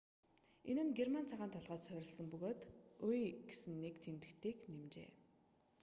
энэ нь герман цагаан толгойд суурилсан бөгөөд õ/õ гэсэн нэг тэмдэгтийг нэмжээ